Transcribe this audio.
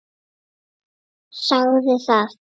Sagði það.